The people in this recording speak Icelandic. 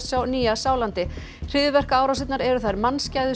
á Nýja Sjálandi hryðjuverkaárásirnar eru þær